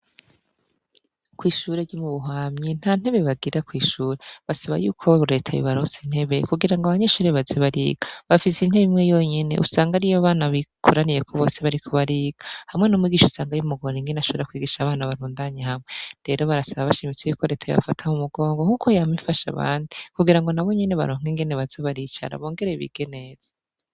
Kw'ishure ryomu buhamyi nta ntebe bagira kw'ishure basaba yuko we uretab barose intebe kugira ngo abanyeshure bazibariga bafise intebe imwe yonyene usanga ari yo bana bikoraniyeko bose bari ku bariga hamwe n'umwigisha usanga y'umugore ingene ashabora kwigisha abana barundanye hamwe, rero barasaba abashimitsi yuko retaye bafataho umugongo nk'uko yam ifashe abandi kugira ngo na bo nyene barohka ingene baza baricara bongereye ibigeneza.